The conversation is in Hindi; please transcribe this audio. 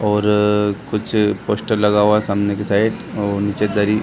और अअ कुछ पोस्टर लगा हुआ है सामने की साइड और नीचे दरी --